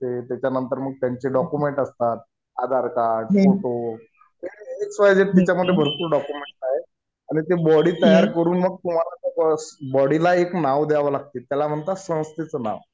ते त्याच्यानंतर मग त्यांचे डॉक्युमेंट असतात. Aadhaar card, photo X Y Z तिच्यामध्ये भरपूर डॉक्युमेंट आहेत. आणि ते बॉडी तयार करून मग तुम्हाला बस बॉडीला एक नाव द्यावं लागते. ज्याला म्हणतात संस्थेचं नाव.